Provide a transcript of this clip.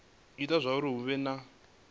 ita zwauri hu vhe na